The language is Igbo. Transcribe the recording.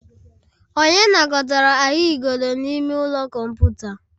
Onye nakọtara ahụigodo n'ime ụlọ kọmputa?